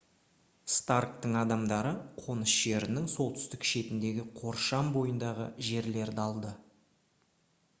старктың адамдары қоныс жерінің солтүстік шетіндегі қоршам бойындағы жерлерді алды